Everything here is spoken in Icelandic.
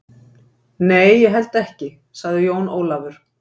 Nei, ég held ekki, sagði Jón Ólafur.